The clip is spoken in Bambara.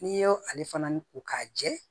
N'i y'o ale fana ko k'a jɛ